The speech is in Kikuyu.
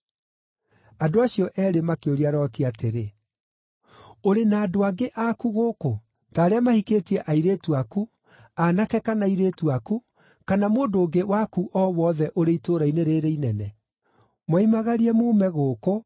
Andũ acio eerĩ makĩũria Loti atĩrĩ, “Ũrĩ na andũ angĩ aku gũkũ, ta arĩa mahikĩtie airĩtu aku, aanake kana airĩtu aku, kana mũndũ ũngĩ waku o wothe ũrĩ itũũra-inĩ rĩĩrĩ inene? Moimagarie muume gũkũ,